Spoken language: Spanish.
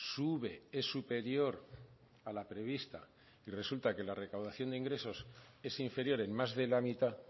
sube es superior a la prevista y resulta que la recaudación de ingresos es inferior en más de la mitad